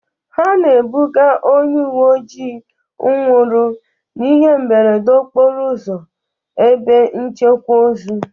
Ha na-ebuga onye uwe ojii nwụrụ n'ihe mberede okporo ụzọ ebe nchekwa ozu.